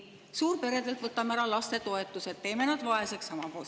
Suurperedelt võtame ära toetused, teeme nad vaeseks.